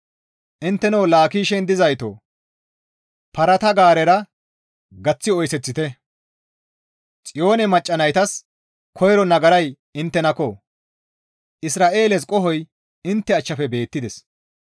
Intteno Laakishen dizaytoo parata gaarera gaththi oyseththite. Xiyoone macca naytas koyro nagaray inttenakko. Isra7eeles qohoy intte achchafe beettides.